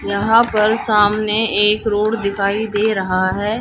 यहां पर सामने एक रोड दिखाई दे रहा है।